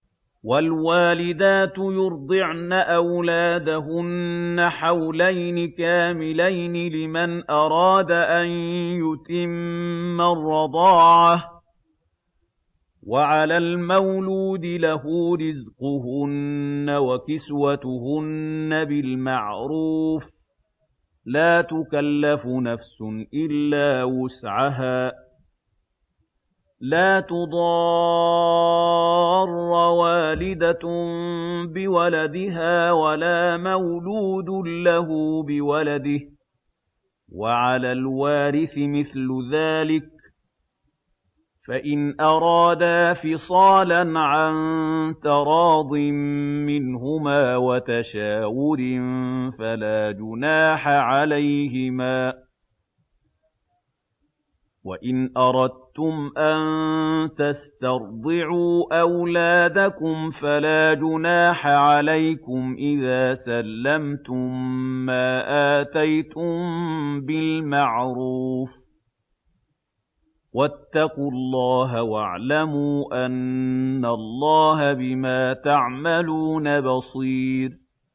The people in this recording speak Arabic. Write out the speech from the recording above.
۞ وَالْوَالِدَاتُ يُرْضِعْنَ أَوْلَادَهُنَّ حَوْلَيْنِ كَامِلَيْنِ ۖ لِمَنْ أَرَادَ أَن يُتِمَّ الرَّضَاعَةَ ۚ وَعَلَى الْمَوْلُودِ لَهُ رِزْقُهُنَّ وَكِسْوَتُهُنَّ بِالْمَعْرُوفِ ۚ لَا تُكَلَّفُ نَفْسٌ إِلَّا وُسْعَهَا ۚ لَا تُضَارَّ وَالِدَةٌ بِوَلَدِهَا وَلَا مَوْلُودٌ لَّهُ بِوَلَدِهِ ۚ وَعَلَى الْوَارِثِ مِثْلُ ذَٰلِكَ ۗ فَإِنْ أَرَادَا فِصَالًا عَن تَرَاضٍ مِّنْهُمَا وَتَشَاوُرٍ فَلَا جُنَاحَ عَلَيْهِمَا ۗ وَإِنْ أَرَدتُّمْ أَن تَسْتَرْضِعُوا أَوْلَادَكُمْ فَلَا جُنَاحَ عَلَيْكُمْ إِذَا سَلَّمْتُم مَّا آتَيْتُم بِالْمَعْرُوفِ ۗ وَاتَّقُوا اللَّهَ وَاعْلَمُوا أَنَّ اللَّهَ بِمَا تَعْمَلُونَ بَصِيرٌ